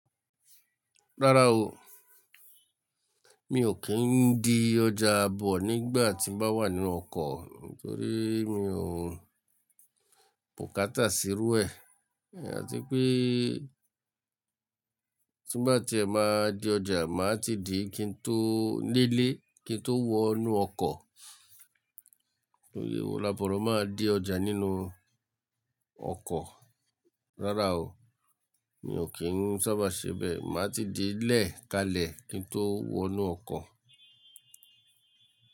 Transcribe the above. Rárá o, mi ò kí ń di ọjà bọ̀ nígbà tí mo bá wà nínú ọkọ̀ nítorí mi ò pòkátà sírú ẹ àti pé tí bá ti ẹ máa di ọjà, màá ti di kín tó lé ilè kín tó wọnú ọkọ̀. Aborọ̀ máa ń di ọjà nínú ọkọ̀. Rárá o, mi ò kí ń sábà ṣe bẹ, màá ti di lẹ́ẹ̀ kalẹ̀ kín tó wọnú ọkọ̀